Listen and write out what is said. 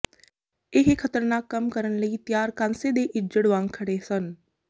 ਇਹ ਖਤਰਨਾਕ ਕੰਮ ਕਰਨ ਲਈ ਤਿਆਰ ਕਾਂਸੇ ਦੇ ਇੱਜੜ ਵਾਂਗ ਖੜੇ ਸਨ